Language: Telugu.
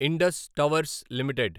Indus towers limited